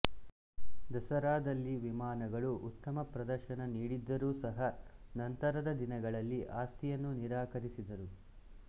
ದಸರಾದಲ್ಲಿ ವಿಮಾನಗಳು ಉತ್ತಮ ಪ್ರದರ್ಶನ ನೀಡಿದ್ದರೂ ಸಹ ನಂತರದ ದಿನಗಳಲ್ಲಿ ಆಸ್ತಿಯನ್ನು ನಿರಾಕರಿಸಿದರು